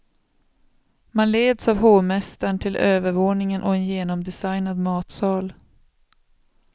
Man leds av hovmästaren till övervåningen och en genomdesignad matsal.